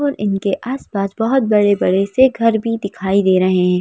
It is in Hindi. और इनके आस पास बहोत बड़े बड़े से घर भी दिखाई दे रहे--